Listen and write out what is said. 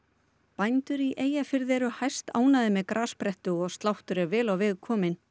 bændur í Eyjafirði eru hæstánægðir með grassprettu og sláttur vel á veg kominn